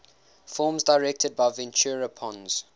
films directed by ventura pons